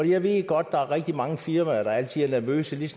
jeg ved godt der er rigtig mange firmaer der altid er nervøse lige